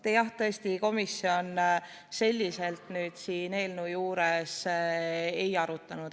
Vaat, jah, tõesti, komisjon seda teemat selle eelnõu puhul ei arutanud.